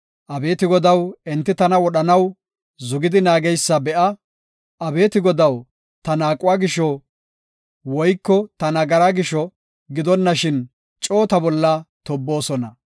Abeeti Godaw, enti tana wodhanaw zugidi naageysa be7a. Abeeti Godaw, ta naaquwa gisho woyko ta nagaraa gisho gidonashin coo ta bolla tobboosona.